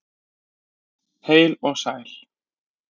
Heil og sæl!